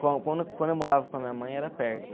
Quando quando eu morava com a minha mãe, era perto.